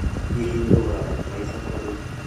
Hihi ngũgũra bataraitha kũ rĩu?